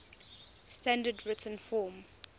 standard written form